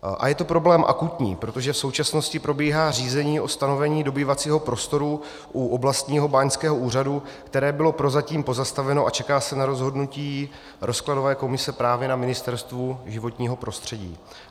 A je to problém akutní, protože v současnosti probíhá řízení o stanovení dobývacího prostoru u oblastního báňského úřadu, které bylo prozatím pozastaveno, a čeká se na rozhodnutí rozkladové komise právě na Ministerstvu životního prostředí.